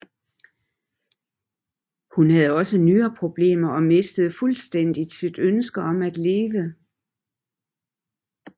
Hun havde også nyreproblemer og mistede fuldstændigt sit ønske om at leve